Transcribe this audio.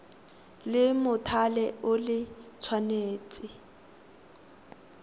la mothale o le tshwanetse